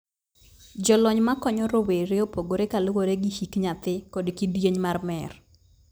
Jolony ma konyo rowere opogore kaluwore gi hik nyathi kod kidieny mar mer.